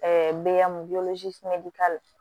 bɛ k'a la